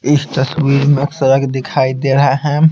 इस तस्वीर में सड़क दिखाई दे रहा है।